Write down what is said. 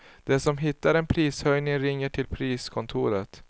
Den som hittar en prishöjning ringer till priskontoret.